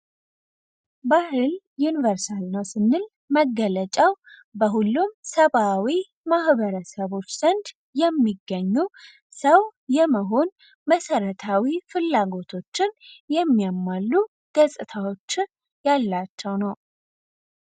ባህል ዩኒቨርሳል ነው ስንል መገለጫው በሁሉም ሰብዓዊ ማህበረሰቦች ዘንድ የሚገኙ ሰው የመሆን መሰረታዊ ፍላጎቶችን የሚያሟሉ ገፅታዎች ያሏቸው ነው።